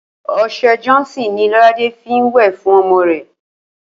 O̩s̩e̩ Johnson ni Ló̩ládé fi ń wè̩ fún o̩mo̩ rè̩